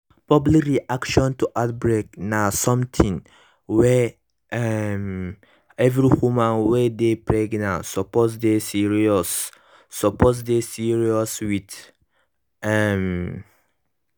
public reaction to outbreak na something wey um every woman wey dey pregnant suppose dey serious suppose dey serious with um